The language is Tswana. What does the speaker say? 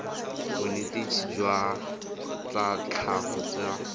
bonetetshi jwa tsa tlhago tsa